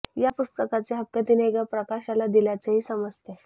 या पुस्तकाचे हक्क तिने एका प्रकाशकाला दिल्याचंही समजतंय